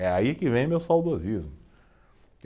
É aí que vem meu saudosismo.